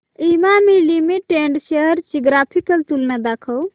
Emami limited shares ची graphical तुलना दाखव